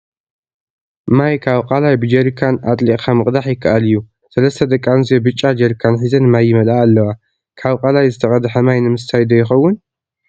ማይ ካብ ቃላይ ብጀሪካን አጥሊቅካ ምቅዳሕ ይከአል እዩ፡፡ ሰለስተ ደቂ አንስትዮ ብጫ ጀሪካን ሒዘን ማይ ይመልአ አለዋ፡፡ ካብ ቃላይ ዝተቀድሐ ማይ ንምስታይ ዶ ይኸውን?